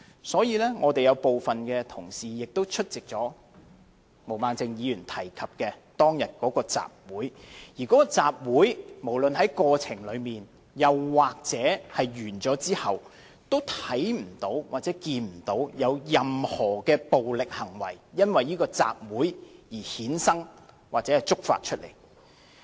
所以，我們有部分同事也有出席毛孟靜議員提及的當日的集會，而該集會，無論在過程中或完結後，均未有看見有任何的暴力行為，因為這集會而衍生或觸發出來。